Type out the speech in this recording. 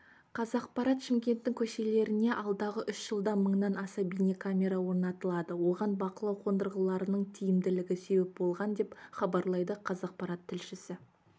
қазақпарат шымкенттің көшелерінеалдағы үш жылда мыңнан аса бейнекамера орнатылады оған бақылау қондырғыларының тиімділігі себеп болған деп хабарлайды қазақпарат тілшісі